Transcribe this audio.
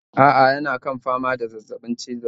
A'a yana kan fama da zazzabin cizon sauro